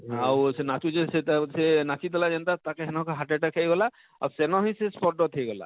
ଆଉ ସେ ନାଚୁଛେ ସେ ତା ସେ ନାଚି ଦେଲା ଯେନତା ତାକେ ହେନ ନ heart attack ହେଇ ଗଲା ଆଉ ସେନ ହିଁ ସେ spot death ହେଇ ଗଲା,